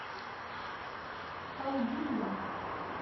халдия